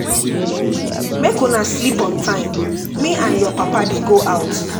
Make una sleep on time. Me and your papa dey go out